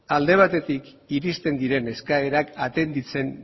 alde batetik iristen diren eskaerak atenditzen